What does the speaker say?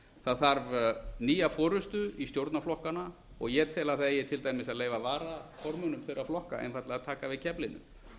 það þarf nýja forustu í stjórnarflokkana og ég tel að það eigi til dæmis að leyfa varaformönnum þeirra flokka einfaldlega að taka við keflinu